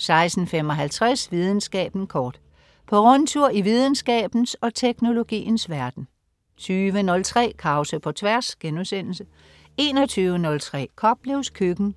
16.55 Videnskaben kort. På rundtur i videnskabens og teknologiens verden 20.03 Krause på Tværs* 21.03 Koplevs Køkken*